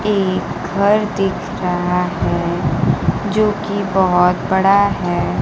ये घर दिख रहा है जो कि बहुत बड़ा है।